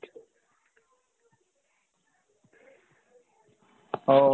ও।